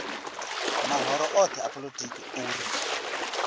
mahoro othe a polotiki uri